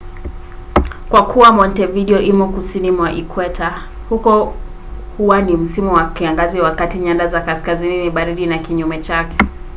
kwa kuwa montevideo imo kusini mwa ikweta huko huwa ni msimu wa kiangazi wakati nyanda ya kaskazini ni baridi na kinyume chake